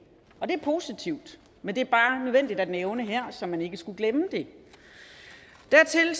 er positivt men det er bare nødvendigt at nævne her så man ikke skulle glemme det dertil er